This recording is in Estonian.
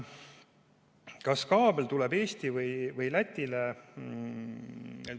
Kas kaabel tuleb Eestisse või Lätisse?